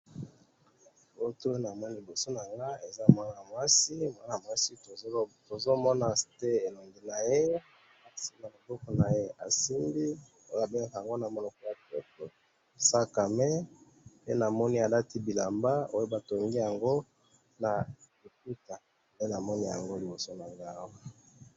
Namoni mwana mwasi na sac a main na loboko, alati elamba batongi na ma puta.